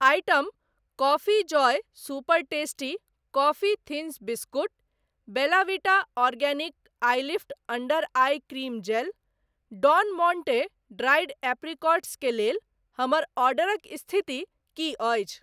Item coffee joy super tasty coffee thins biscuit, Bella Vita organic ilift under eye cream gel, Don Monte dried apricots के लेल हमर ऑर्डरक स्थिति की अछि ?